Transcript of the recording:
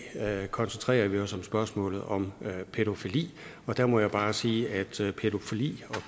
koncentrerer vi os om spørgsmålet om pædofili og der må jeg bare sige at pædofili og